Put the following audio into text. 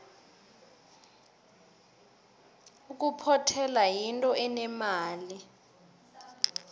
ukuphothela yinto enemali